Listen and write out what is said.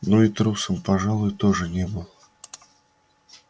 но и трусом пожалуй тоже не был